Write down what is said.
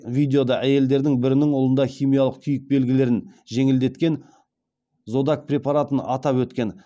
видеода әйелдердің бірінің ұлында химиялық күйік белгілерін жеңілдеткен зодак препаратын атап өткен